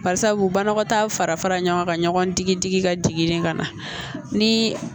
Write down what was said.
Barisabu banakɔtaa fara fara ɲɔgɔn kan ɲɔgɔn digi digi ka jigin de ka na ni